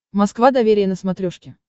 москва доверие на смотрешке